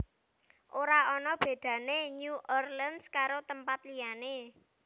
Ora ono bedane New Orleans karo tempat liyane